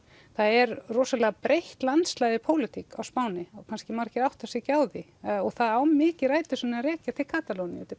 það er rosalega breitt landslag í pólitík á Spáni þó margir átti sig kannski ekki á því og það á mikið rætur sínar að rekja til Katalóníu